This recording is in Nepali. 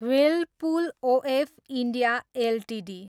Whirlpool OF India Ltd